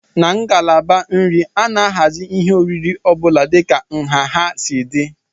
Na ngalaba nri, a na-ahazi ihe oriri ọ bụla dịka nha ha si dị